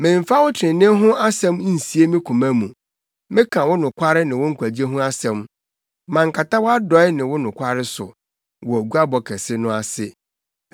Memmfa wo trenee ho asɛm nsie me koma mu; meka wo nokware ne wo nkwagye ho asɛm. Mankata wʼadɔe ne wo nokware so wɔ guabɔ kɛse no ase.